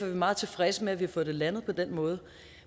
vi meget tilfredse med at vi har fået det landet på den måde